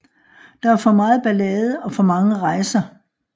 Der er for meget ballade og for mange rejser